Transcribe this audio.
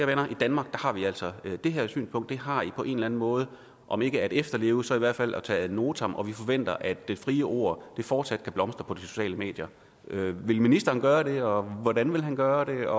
venner i danmark har vi altså det her synspunkt og det har i på en eller en måde om ikke at efterleve så i hvert fald at tage ad notam og vi forventer at det frie ord fortsat kan blomstre på de sociale medier vil ministeren gøre det og hvordan vil han gøre det